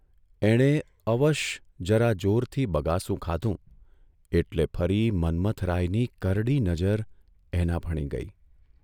એણે અવશ જરા જોરથી બગાસું ખાધું એટલે ફરી મન્મથરાયની કરડી નજર એના ભણી ગઇ.